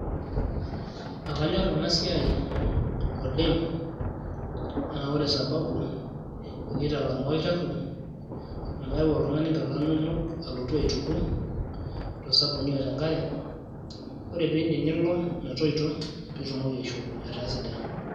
Akanyor enasiai oleng'. Na ore sababu, kitalamaa olchafu amu keyau oltung'ani inkilani nonok alotu aituko, tosabuni otenkare. Ore piidip nilo metoito pitumoki aishopo etaa sidain.